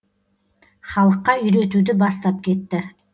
халыққа үйретуді бастап кетті